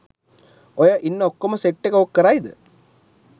ඔය ඉන්න ඔක්කොම සෙට් එක ඕක කරයිද?